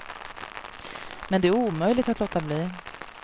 Men det är omöjligt att låta bli.